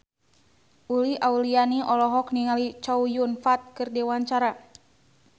Uli Auliani olohok ningali Chow Yun Fat keur diwawancara